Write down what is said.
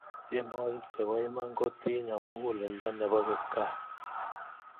tienwokik chepo iman kotinyo mukuleldo nepo kipkaa